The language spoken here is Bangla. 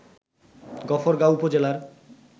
গফরগাঁও উপজেলার